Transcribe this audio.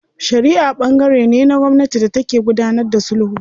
Shariʼa ɓangare ne na gwamnati da take gudanar da sulhu.